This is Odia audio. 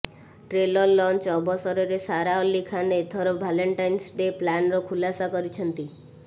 ଟ୍ରେଲର ଲଞ୍ଚ୍ ଅବସରରେ ସାରା ଅଲ୍ଲୀ ଖାନ ଏଥର ଭାଲେଣ୍ଟାଇନସ ଡେ ପ୍ଲାନର ଖୁଲାସା କରିଛନ୍ତି